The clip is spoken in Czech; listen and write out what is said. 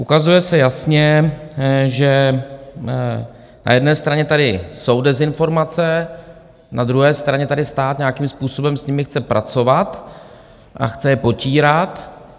Ukazuje se jasně, že na jedné straně tady jsou dezinformace, na druhé straně tady stát nějakým způsobem s nimi chce pracovat a chce je potírat.